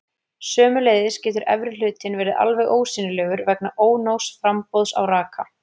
Sömuleiðis getur efri hlutinn verið alveg ósýnilegur vegna ónógs framboðs á raka.